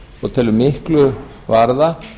og telur miklu varða